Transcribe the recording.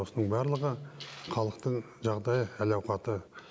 осының барлығы халықтың жағдайы әл ауқаты